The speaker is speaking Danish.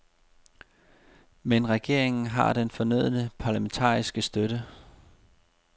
Men regeringen har den fornødne parlamentariske støtte.